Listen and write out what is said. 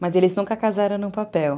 Mas eles nunca casaram no papel.